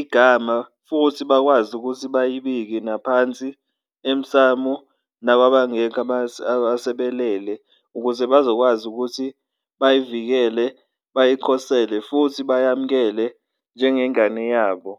igama futhi bakwazi ukuthi bayibike naphansi emsamu, nakwabangekho asebelele ukuze bazokwazi ukuthi bayivikele, bayikhosele futhi beyamkele njengengane yabo.